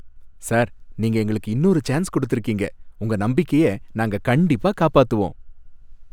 sir, நீங்க எங்களுக்கு இன்னொரு சான்ஸ் குடுத்திருக்கீங்க, உங்க நம்பிக்கைய நாங்க கண்டிப்பா காப்பாத்துவோம்